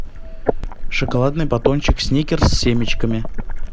шоколадный батончик сникерс с семечками